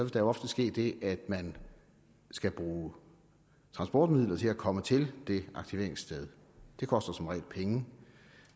der ofte ske det at man skal bruge transportmidler til at komme til det aktiveringssted det koster som regel penge